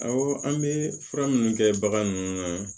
Awɔ an bɛ fura minnu kɛ bagan ninnu na